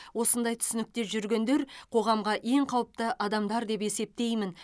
осындай түсінікте жүргендер қоғамға ең қауіпті адамдар деп есептеймін